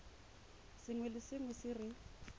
sengwe le sengwe se re